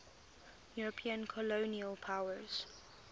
european colonial powers